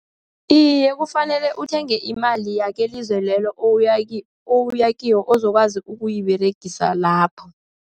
Iye, kufanele uthenge imali yelizwe lelo oya kilo, ozokwazi ukuyiberegisa lapho.